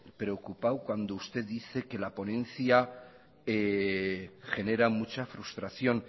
preocupado cuando usted dice que la ponencia genera mucha frustración